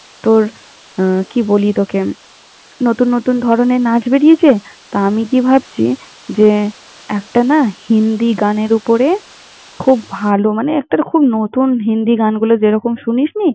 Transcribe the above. তোর, কি বলি তোকে আমি! নতুন নতুন ধরনের নাচ বেরিয়েছে তো আমি কি ভাবছি যে, একটা না হিন্দি গানের ওপরে খুব ভালো মানে একটার খুব নতুন হিন্দি গানগুলো যেরকম শুনিস নি!